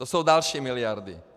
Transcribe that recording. To jsou další miliardy.